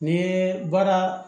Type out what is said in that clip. N'i ye baara